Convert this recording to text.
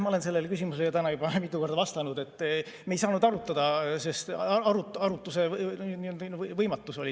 Ma olen sellele küsimusele täna juba mitu korda vastanud, et me ei saanud arutada, sest oli arutamise võimatus.